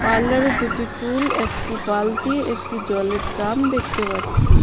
পার্লারে দুটি টুল একটি বালতি একটি জলের ড্রাম দেখতে পাচ্ছি।